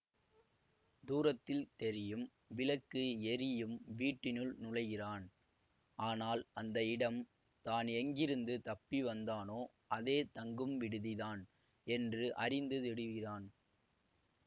தூரத்தில் தெரியும் விளக்கு எறியும் வீட்டினுள் நுழைகிறான் ஆனால் அந்த இடம் தான் எங்கிருந்து தப்பி வந்தானோ அதே தங்கும் விடுதி தான் என்று அறிந்து திடுகிறான்